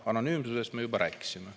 Anonüümsusest me juba rääkisime.